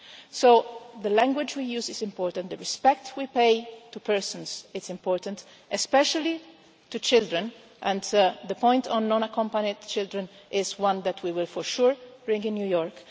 So the language we use is important, the respect we pay to persons is important, especially to children, and the point on non accompanied children is one that we will for sure bring up in New York.